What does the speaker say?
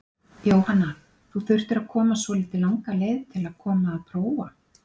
Jóhanna: Þú þurftir að koma svolítið langa leið til að koma að prófa?